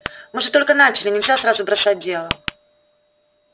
мы же только начали нельзя сразу бросать дело